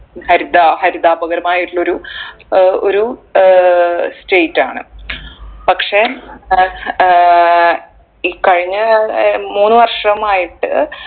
ഹരിത ഹരിതാപകരമായിട്ടുള്ളൊരു ഏർ ഒരു ഏർ state ആണ് പക്ഷെ ഏർ ഈ കഴിഞ്ഞ അഹ് മൂന്നു വർഷമായിട്ട്